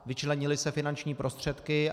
Vyčlenily se finanční prostředky.